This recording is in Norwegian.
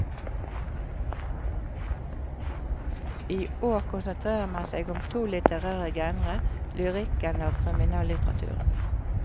I år konsentrerer man seg om to litterære genre, lyrikken og kriminallitteraturen.